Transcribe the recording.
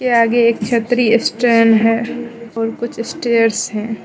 आगे एक छतरी स्टैंड है और कुछ स्टेयर्स है।